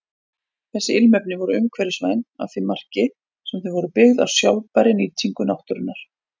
Þessi ilmefni voru umhverfisvæn að því marki sem þau voru byggð á sjálfbærri nýtingu náttúrunnar.